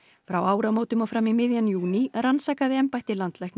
frá áramótum og fram í miðjan júní rannsakaði embætti landlæknis